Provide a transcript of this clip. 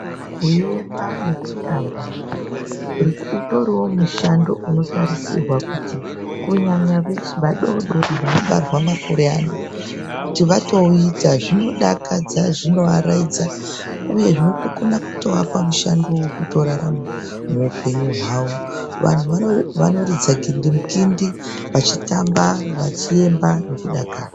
Kuemba nekutamba utoriwo mushando unotarisirwa kunyanya kuvadoodori vanobarwa mazuwa anaa. Kuti vatouita zvinodakadza zvinoaraidza uye zvinotokona kuapa mushando wekutorarama muupenyu hwavo. Vanhu vanoridza gindimukindi vachitamba, vachiemba vachidakara.